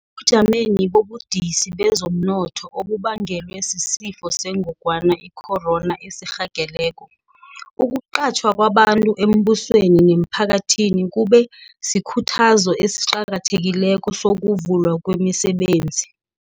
Ebujameni bobudisi bezomnotho obubangelwe sisiFo seNgogwana i-Corona esirhageleko, ukuqatjhwa kwabantu embusweni nemphakathini kube sikhuthazo esiqakathekileko sokuvulwa kwemisebenzi.